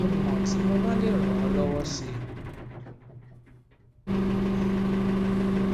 jẹ kí n mọ tí mo bá lè ràn ọ lọwọ si